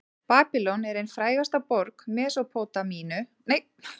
babýlon er ein frægasta borg mesópótamíu til forna